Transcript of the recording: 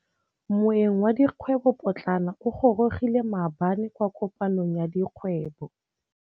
Moêng wa dikgwêbô pôtlana o gorogile maabane kwa kopanong ya dikgwêbô.